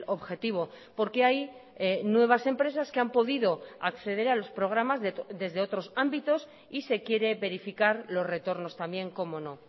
objetivo porque hay nuevas empresas que han podido acceder a los programas desde otros ámbitos y se quiere verificar los retornos también cómo no